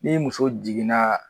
Ni muso jiginna